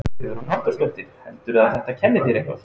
Hugrún Halldórsdóttir: Heldurðu að þetta kenni þér eitthvað?